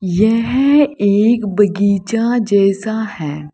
यह एक बगीचा जैसा है।